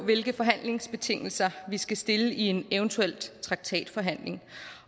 hvilke forhandlingsbetingelser vi skal stille i en eventuel traktatforhandling